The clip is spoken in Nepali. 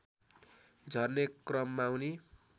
झर्ने क्रममा उनी